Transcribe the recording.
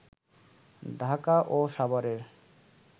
ঢাকা ও সাভারের